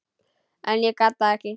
En ég gat það ekki.